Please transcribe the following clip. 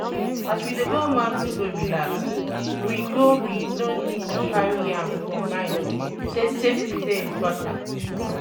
As we dey go mountain go relax, we go we go need to carry am for mind sey safety dey important